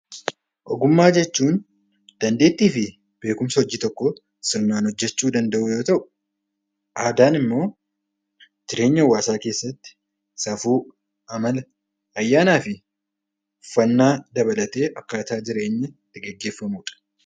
Ogummaa jechuun dandeettii fi beekumsa hojii tokkoo sirnaan hojjechuu danda'uu yoo ta'u, aadaan immoo jireenya hawaasaa keessatti safuu, amala fi ayyaana uffannaa dabalatee akkaataa jireenya itti gaggeeffamudha.